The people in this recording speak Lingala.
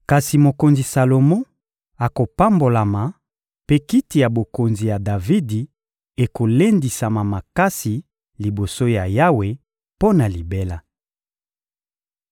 Kasi mokonzi Salomo akopambolama, mpe kiti ya bokonzi ya Davidi ekolendisama makasi liboso ya Yawe mpo na libela.